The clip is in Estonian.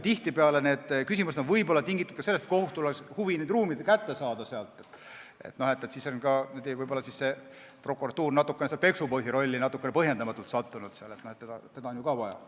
Tihtipeale on need küsimused võib-olla tingitud ka sellest, et kohtul oleks huvi need ruumid enda kätte saada, siis on ka võib-olla prokuratuur natukene põhjendamatult peksupoisi rolli sattunud, teda on ju ka vaja.